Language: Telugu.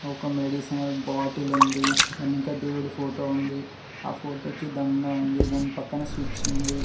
ఒక మెడిసినల్ బాటిల్ ఉంది వెనుక దేవుడి ఫోటో ఉంది ఆ ఫోటోకి దండ ఉంది దాని పక్కన స్విచ్ ఉంది.